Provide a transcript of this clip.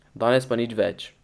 Danes pa nič več.